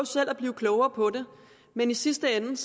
at blive klogere på det men i sidste ende